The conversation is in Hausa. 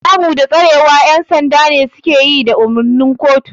Kamu da tsarewa ƴan sanda ne suke yi da umarnin kotu.